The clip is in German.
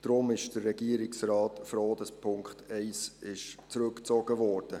Deshalb ist der Regierungsrat froh, dass der Punkt 1 zurückgezogen wurde.